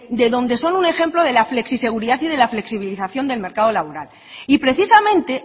de donde son un ejemplo de la flexiseguridad y de la flexibilización del mercado laboral y precisamente